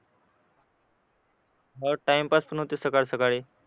हो टाईमपास पण होते सकाळी सकाळी